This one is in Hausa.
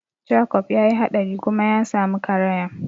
Jakob ya yi haɗari kuma ya samu karaya.